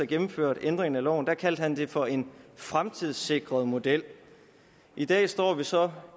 gennemførte ændringen af loven kaldte han det for en fremtidssikret model i dag står vi så